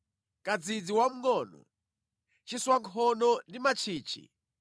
kadzidzi wamngʼono, chiswankhono ndi mantchichi,